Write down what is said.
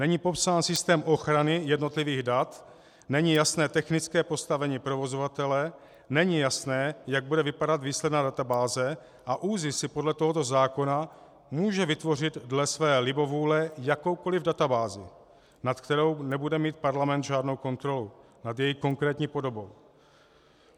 Není popsán systém ochrany jednotlivých dat, není jasné technické postavení provozovatele, není jasné, jak bude vypadat výsledná databáze, a ÚZIS si podle tohoto zákona může vytvořit dle své libovůle jakoukoli databázi, nad kterou nebude mít parlament žádnou kontrolu, nad její konkrétní podobou.